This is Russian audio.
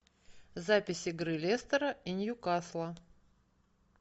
запись игры лестера и ньюкасла